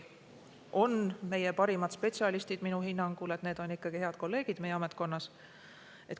Meie parimad spetsialistid on minu hinnangul ikkagi head kolleegid meie ametkonnas.